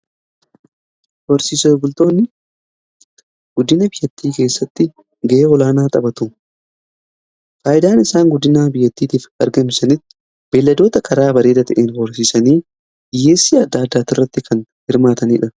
Horsiisee bultoonni guddina biyyattii keessatti ga'ee olaanaa taphatu. Faayidaan isaan guddina biyyattiitiif argamsanitti beelladoota karaa bareeda ta'een hoorsiisanii dhiyyeessii adda addaa irratti kan hirmaatanidha.